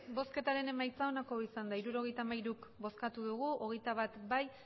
emandako botoak hirurogeita hamairu bai hogeita bat ez